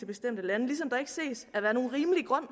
bestemte lande ligesom der ikke ses at være nogen rimelig grund